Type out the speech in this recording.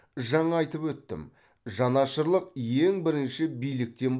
жаңа айтып өттім жанашырлық ең бірінші биліктен